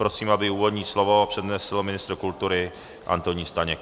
Prosím, aby úvodní slovo přednesl ministr kultury Antonín Staněk.